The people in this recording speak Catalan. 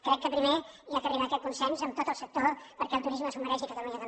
crec que primer s’ha d’arribar a aquest consens amb tot el sector perquè el turisme s’ho mereix i catalunya també